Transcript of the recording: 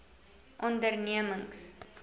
ondernemings